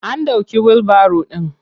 An ɗauke wilbaro ɗin.